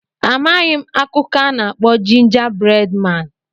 Amaghị m akụkọ a na-akpọ Jinja bred maan.